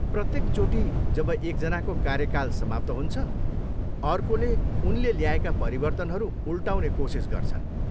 प्रत्येकचोटि जब एकजनाको कार्यकाल समाप्त हुन्छ, अर्कोले उनले ल्याएका परिवर्तनहरू उल्टाउने कोसिस गर्छन्।